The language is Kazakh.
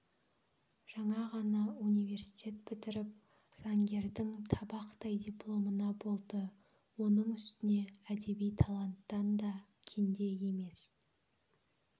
жаңа ғана университет бітіріп заңгердің табақтай дипломына болды оның үстіне әдеби таланттан да кенде емес